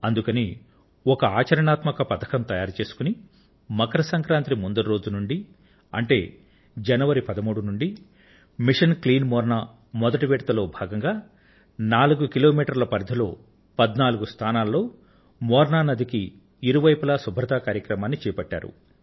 అందుకని ఒక కార్యాచరణ ప్రణాళిక తయారుచేసుకొని మకర సంక్రాంతి ముందరి రోజు నుండి అంటే జనవరి 13 నుండి మిషన్ క్లీన్ మోర్నా లో మొదటి భాగంగా నాలుగు కిలోమీటర్ల పరిధిలో పధ్నాలుగు స్థానాల్లో మోనా నదికి ఇరువైపులా శుభ్రత కార్యక్రమాన్ని చేపట్టారు